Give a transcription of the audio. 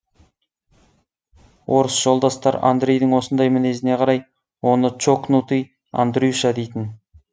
орыс жолдастар андрейдің осындай мінезіне қарай оны чокнутый андрюша дейтін